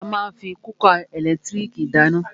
A má ń fí kúkà ẹ̀lẹ́tírìkì dáná.